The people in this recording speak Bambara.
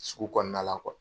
Sugu kɔnɔna na kɔ.